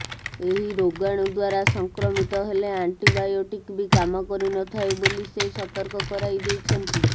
ଏହି ରୋଗାଣୁ ଦ୍ୱାରା ସଂକ୍ରମିତ ହେଲେ ଆଣ୍ଟିବୋୟାଟିକ୍ ବି କାମ କରିନଥାଏ ବୋଲି ସେ ସତର୍କ କରାଇଦେଇଛନ୍ତି